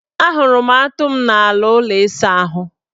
Ahụrụ m atụ m n' ala ụlọ isaahụ.